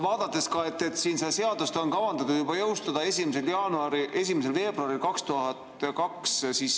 Aga see seadus on kavandatud jõustuma juba 1. veebruaril 2022.